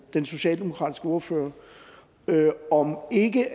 den socialdemokratiske ordfører om ikke